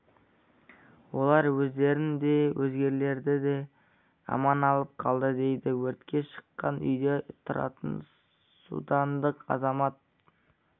олар өздерін де өзгелерді де аман алып қалды дейді өртке шыққан үйде тұратын судандық азамат